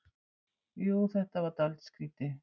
Jú, þetta var dálítið skrýtið.